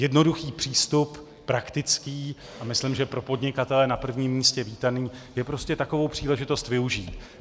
Jednoduchý přístup, praktický a myslím, že pro podnikatele na prvním místě vítaný, je prostě takovou příležitost využít.